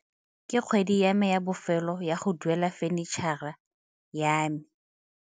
Ke kgwedi ya me ya bofelo ya go duela fenitšhara ya me.